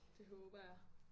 Det håber jeg